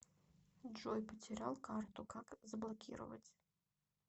джой потерял карту как заблокировать